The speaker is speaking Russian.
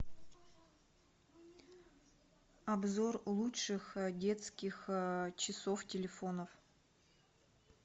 обзор лучших детских часов телефонов